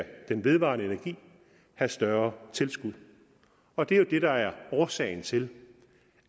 den vedvarende energi have større tilskud og det er jo det der er årsagen til